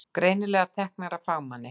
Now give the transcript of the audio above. Greinilega teknar af fagmanni.